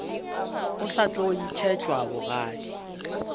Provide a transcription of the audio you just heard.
o sa tlo ntšhetšwa magadi